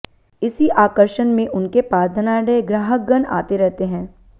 इसी आकर्षण में उनके पास धनाढ्य ग्राहकगण आते रहते हैं